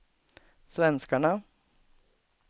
svenskarna